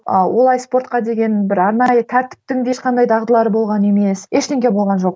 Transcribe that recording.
ыыы олай спортқа деген бір арнайы тәртіптің де ешқандай дағдылары болған емес ештеңе болған жоқ